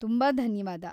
ತುಂಬಾ ಧನ್ಯವಾದ.